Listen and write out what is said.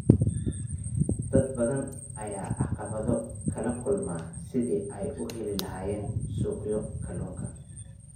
Dad badan ayaa caqabado kala kulma sidii ay u heli lahaayeen suuqyo kalluunka.